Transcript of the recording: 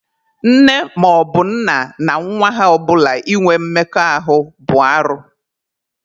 Nne maọbụ nna na nwa ha ọbụla inwe mmekọahụ bụ arụ.